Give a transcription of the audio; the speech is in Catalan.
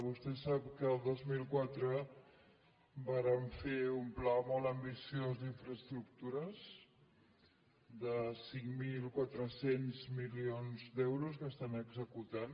vostè sap que el dos mil quatre vàrem fer un pla molt ambiciós d’infraestructures de cinc mil quatre cents milions d’euros que s’estan executant